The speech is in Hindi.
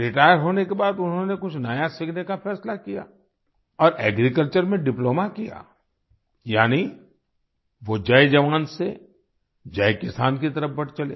Retire होने के बाद उन्होंने कुछ नया सीखने का फैसला किया और एग्रीकल्चर में डिप्लोमा किया यानीवो जय जवान से जय किसान की तरफ बढ़ चले